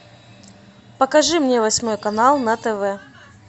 покажи мне восьмой канал на тв